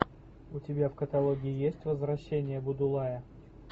у тебя в каталоге есть возвращение будулая